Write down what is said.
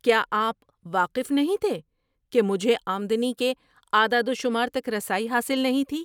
کیا آپ واقف نہیں تھے کہ مجھے آمدنی کے اعداد و شمار تک رسائی حاصل نہیں تھی؟